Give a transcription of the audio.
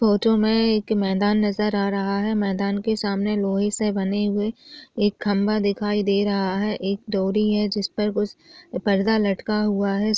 Photo में एक मैदान नजर आ रहा है मैदान के सामने लोहे से बने हुए एक खंबा दिखाई दे रहा है एक डोरी है जिस पर कुछ पर्दा लटका हुआ है।